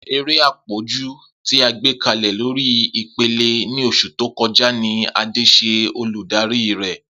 Ere apọju ti a gbekalẹ lori ipele ni oṣu to kọja ni Ade ṣe oludari rẹ.